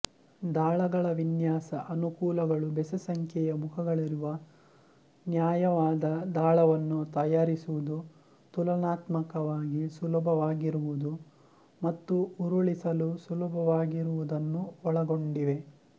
ದಾಳಗಳ ವಿನ್ಯಾಸ ಅನುಕೂಲಗಳು ಬೆಸ ಸಂಖ್ಯೆಯ ಮುಖಗಳಿರುವ ನ್ಯಾಯವಾದ ದಾಳವನ್ನು ತಯಾರಿಸುವುದು ತುಲನಾತ್ಮಕವಾಗಿ ಸುಲಭವಾಗಿರುವುದು ಮತ್ತು ಉರುಳಿಸಲು ಸುಲಭವಾಗಿರುವುದನ್ನು ಒಳಗೊಂಡಿವೆ